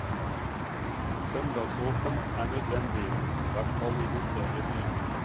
Søndagsåpent er nødvendig, i hvert fall i de større byene.